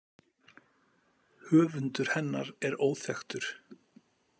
Höfundur hennar er óþekktur.